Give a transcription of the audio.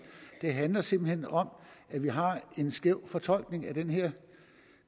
det handler simpelt hen om at vi har en skæv fortolkning af den her